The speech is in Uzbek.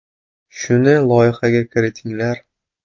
Shuni loyihaga kiritinglar.